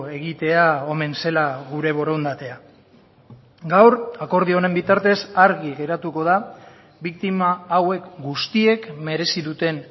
egitea omen zela gure borondatea gaur akordio honen bitartez argi geratuko da biktima hauek guztiek merezi duten